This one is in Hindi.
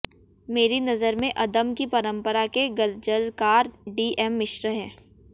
मेरी नजर में अदम की परंपरा के ग़ज़लकार डी एम मिश्र हैं